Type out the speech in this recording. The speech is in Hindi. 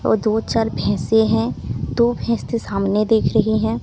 और दो चार भैसें हैं दो भैंस तो सामने देख रहीं हैं।